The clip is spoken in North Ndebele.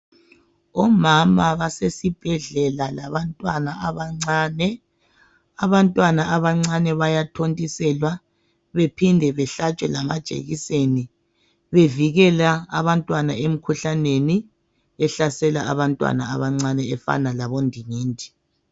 omama basesibhedlela labantwana abancane, abantwana abancane bayathontiselwa bephinde behlatshwe lama jekiseni bevikela abantwana emikhuhlaneni ehlasela abantwana abancane efana labo ndingindi